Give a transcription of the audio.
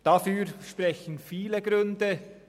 Dafür sprechen viele Gründe.